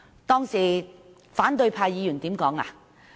當時反對派議員說甚麼？